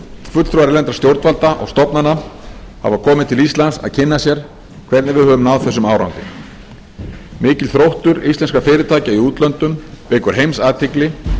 fulltrúar erlendra stjórnvalda og stofnana hafa komið til íslands að kynna sér hvernig við höfum náð þessum árangri mikill þróttur íslenskra fyrirtækja í útlöndum vekur heimsathygli